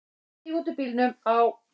Stíg út úr bíl, á.